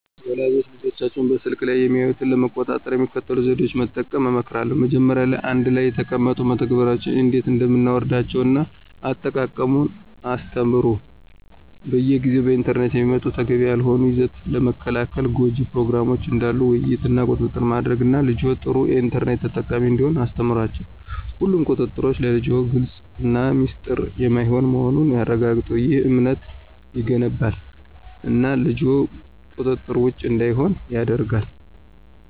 ወላጆች ልጆቻቸው በስልክ ላይ የሚያዩትን ለመቆጣጠር የሚከተሉትን ዘዴዎች መጠቀም እመክራለሁ። መጀመሪያ ላይ አንድ ላይ ተቀምጠው መተግበሪያዎችን እንዴት እንደምናወርዳቸውን እና አጠቃቀሙን ያስተምሩ። በየጊዜው በኢንተርኔት የሚመጡ ተገቢ ያልሆነ ይዘት ለመከልከል ጎጅ ፕሮግራሞችን ዳሉ ውይይት እና ቁጥጥር ማድረግ እና ልጅዎ ጥሩ የኢንተርኔት ተጠቃሚ እንዲሆን አስተምሯቸው። ሁሉም ቁጥጥሮች ለልጅዎ ግልፅ እና ሚስጥር የማይሆን መሆኑን ያረጋግጡ። ይህ እምነትን ይገነባል እና ልጅዎ ቁጥጥር ውጭ እንዳይሆን ያደርጋል።